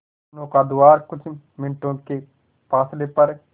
नौका द्वारा कुछ मिनटों के फासले पर